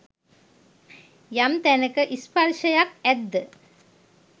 යම් තැනක ස්පර්ශයක් ඇද්ද